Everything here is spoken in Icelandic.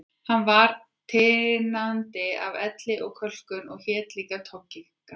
Hann var tinandi af elli og kölkun og hét líka Toggi, Gamli